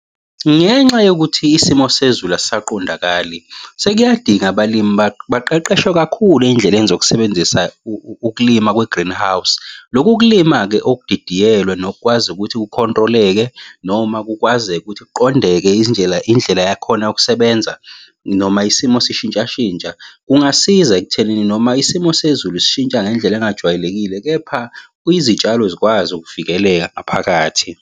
Ngenxa yokuthi isimo sezulu asisaqondakali sekuyadinga abalimi baqeqeshwe kakhulu ey'ndleleni zokusebenzisa ukulima kwe-greenhouse. Loku ukulima-ke okudidiyelwe nokukwazi ukuthi ku-control-eke noma kukwazeke ukuthi kuqondeke indlela yakhona yokusebenza, noma isimo sishintsha shintsha kungasiza ekuthenini noma isimo sezulu sishintsha ngendlela engajwayelekile, kepha kuye izitshalo zikwazi ukuvikeleka ngaphakathi.